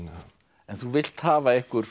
en þú vilt hafa einhver